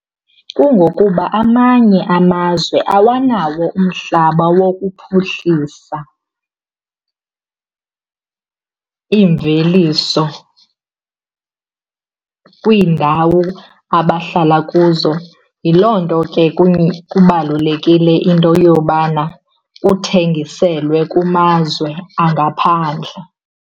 Kungokuba amanye amazwe awanawo umhlaba wokuphuhlisa imveliso kwiindawo abahlala kuzo. Yiloo nto ke kubalulekile into yobana kuthengiselwe kumazwe angaphandle.